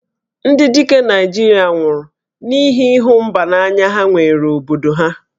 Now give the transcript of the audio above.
Ndị dike Naịjirịa nwụrụ n'ihi ịhụ mba n'anya ha nwere obodo ha